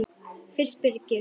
Fyrst Birgir